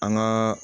An gaa